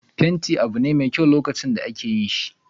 fenti abune mai sa'adan nau'i kerawa.